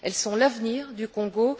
Elles sont l'avenir du Congo.